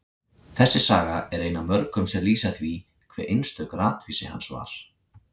Þessi saga er ein af mörgum sem lýsa því hve einstök ratvísi hans var.